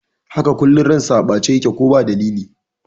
Haka, kullum ransa a ɓace yake ko ba dalili